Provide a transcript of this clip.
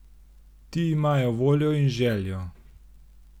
Ti imajo voljo in željo.